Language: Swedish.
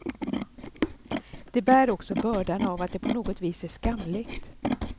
De bär också bördan av att det på något vis är skamligt.